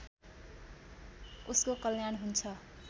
उसको कल्याण हुन्छ